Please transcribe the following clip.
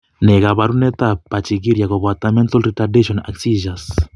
Ne kaabarunetap Pachygyria koboto mental retardation ak seizures?